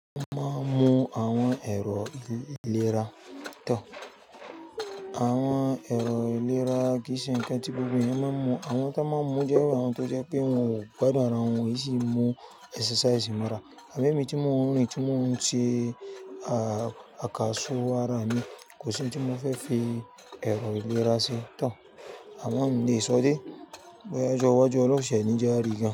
Mo máa ń mu àwọn ẹ̀rọ ìlera to. Àwọn ẹ̀rọ ìlera kì í ṣe ǹkan tí gbogbo èèyàn máa ń mu. Àwọn tí wọ́n máa ń mu jẹ́ irù àwọn tó jẹ́ pé wọn ò gbádùn ara wọn, ó sì ń mu exercise mọ́ra. Àbi ẹ̀mí tí mò ń rìn, tí mò ń ṣe àkàsọ̀ ara mi kò ṣe òun tí mo fẹ́ fi ẹ̀rọ ìlera ṣe tán. Àmo mi ń le sọ dé bọ́ya ijọ́ waju ọlọ̀run ṣẹ̀ ní je a rí gan.